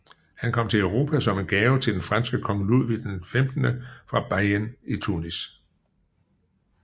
Han kom til Europa som en gave til den franske kong Ludvig XV fra beyen i Tunis